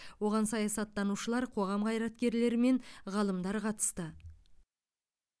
оған саясаттанушылар қоғам қайраткерлері мен ғалымдар қатысты